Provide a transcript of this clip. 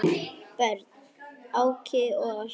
Börn: Áki og Össur.